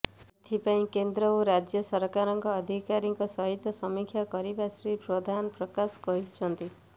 ଏଥିପାଇଁ କେନ୍ଦ୍ର ଓ ରାଜ୍ୟ ସରକାରଙ୍କ ଅଧିକାରୀଙ୍କ ସହିତ ସମୀକ୍ଷା କରିଥିବା ଶ୍ରୀ ପ୍ରଧାନ ପ୍ରକାଶ କରିଛନ୍ତି